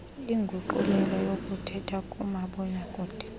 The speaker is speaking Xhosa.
inguqulelo yokuthethwayo kumabonakude